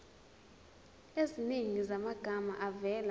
eziningi zamagama avela